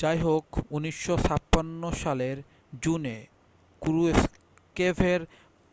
যাইহোক 1956 সালের জুনে ক্রুশ্চেভের